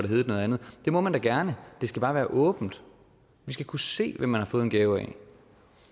heddet noget andet det må man da gerne det skal bare være åbent vi skal kunne se hvem man har fået en gave af